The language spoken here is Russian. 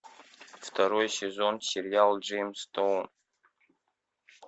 второй сезон сериал джеймстаун